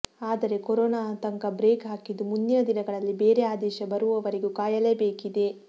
ಆದರೆ ಕೊರೋನಾ ಆತಂಕ ಬ್ರೇಕ್ ಹಾಕಿದ್ದು ಮುಂದಿನ ದಿನಗಳಲ್ಲಿ ಬೇರೆ ಆದೇಶ ಬರುವವರೆಗೂ ಕಾಯಲೇಬೇಕಿದೆ